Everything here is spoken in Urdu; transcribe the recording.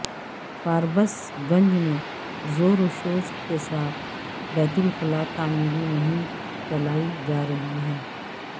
فاربس گنج میں زوروشور کے ساتھ بیت الخلاء تعمیری مہم چلائی جارہی ہے